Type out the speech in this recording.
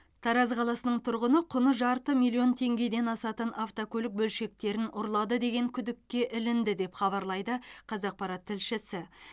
тараз қаласының тұрғыны құны жарты миллион теңгеден асатын автокөлік бөлшектерін ұрлады деген күдікке ілінді деп хабарлайды қазақпарат тілшісі